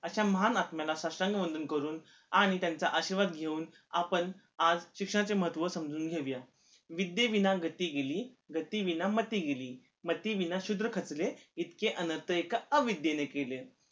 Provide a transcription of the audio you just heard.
अशा महान आत्म्याला साष्टांग वंदन करून आणि त्यांचा आशीर्वाद घेऊन आपण आज शिक्षणाचे महत्व समजून घेउया विद्देविना गती गेली गती विना मती गेली मती विना शुद्र खचले इतके अनर्थ एका अविद्देने केले'